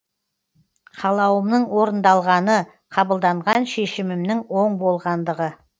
қалауымның орындалғаны қабылданған шешімімнің оң болғандығы